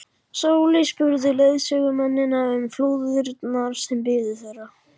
Sóley spurði leiðsögumennina um flúðirnar sem biðu þeirra.